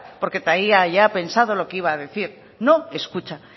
porque traía ya pensado lo que iba a decir no escucha